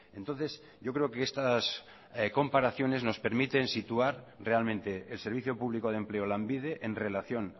entonces yo creo que estas comparaciones nos permiten situar realmente el servicio público de empleo lanbide en relación